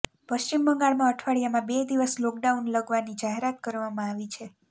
પશ્ચિમ બંગાળમાં અઠવાડિયામાં બે દિવસ લોકડાઉન લગવાની જાહેરાત કરવામાં આવી છે